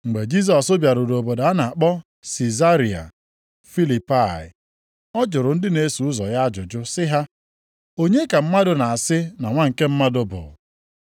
Mgbe Jisọs bịaruru obodo a na-akpọ Sizaria Filipai, ọ jụrụ ndị na-eso ụzọ ya ajụjụ sị ha, “Onye ka ndị mmadụ na-asị na Nwa nke Mmadụ bụ?”